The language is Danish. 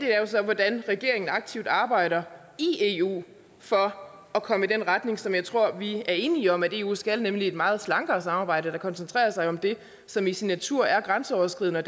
er så hvordan regeringen aktivt arbejder i eu for at komme i den retning som jeg tror vi er enige om eu skal nemlig imod et meget slankere samarbejde der koncentrerer sig om det som i sin natur er grænseoverskridende og